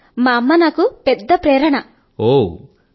sir మా అమ్మయే క దా నాకు పెద్ద ప్రేరణ మూర్తి